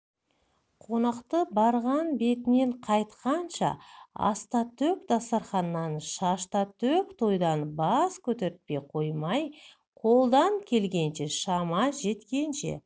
қонақты барған бетінен қайтқанша астатөк дастарқаннан шаштатөк тойдан бас көтертпей қоймай қолдан келгенінше шама жеткенінше